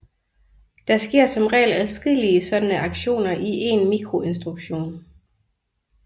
Der sker som regel adskillige sådanne aktioner i én mikroinstruktion